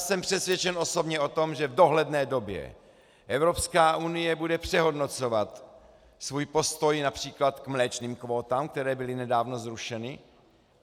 Jsem přesvědčen osobně o tom, že v dohledné době Evropská unie bude přehodnocovat svůj postoj například k mléčným kvótám, které byly nedávno zrušeny.